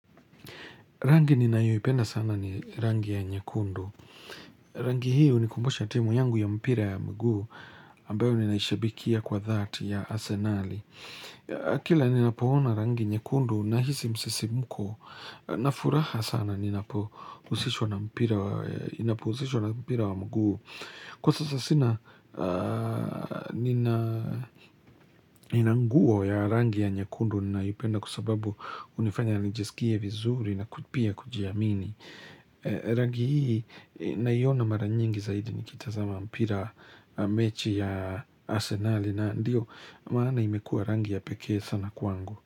Rangi nina hiyo ipenda sana ni rangi ya nyekundu. Rangi hii hunikumbusha timu yangu ya mpira ya mguu ambayo ninaishabikia kwa dhati ya asenali. Kila nina poona rangi nyekundu na hizi msisimuko na furaha sana ninapousishwa na mpira wa mguu. Kwa sasa sina nina nguo ya rangi ya nyekundu naipenda kwa sababu unifanya nijisikie vizuri na kutipia kujiamini. Rangi hii naiona mara nyingi zaidi nikitazama mpira mechi ya asenali na ndio maana imekua rangi ya peke sana kuangu.